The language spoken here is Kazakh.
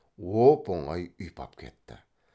оп оңай ұйпап кетті